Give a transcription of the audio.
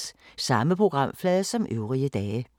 Samme programflade som øvrige dage